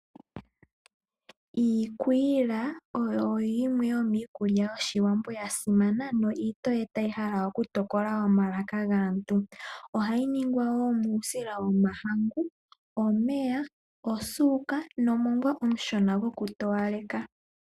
Iikwila oyo yimwe yomiikulya yOshiwambo ya simana yo itoye tayi hala oku tokola omalaka gaantu. Ohayi ningwa wo muusila womahangu, omeya, osuuka nomongwa omushona goku towaleka.